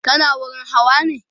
kana wurin Hawa ne?